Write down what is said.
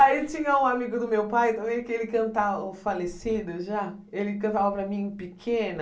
Aí tinha um amigo do meu pai também, que ele canta o Falecido já, ele cantava para mim pequena,